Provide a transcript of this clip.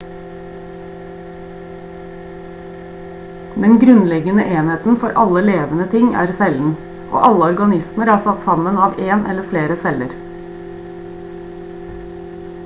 den grunnleggende enheten for alle levende ting er cellen og alle organismer er satt sammen av en eller flere celler